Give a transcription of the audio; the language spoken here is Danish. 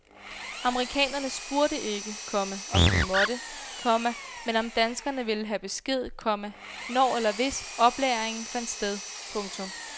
Amerikanerne spurgte ikke, komma om de måtte, komma men om danskerne ville have besked, komma når eller hvis oplagringen fandt sted. punktum